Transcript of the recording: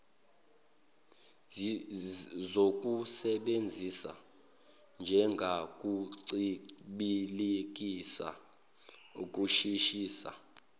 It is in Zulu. zokusebenzisa njengokuncibilikisa ukushisisa